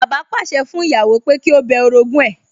Bàbá pàṣẹ fún ìyàwó pé kí ó bẹ orogún ẹ̀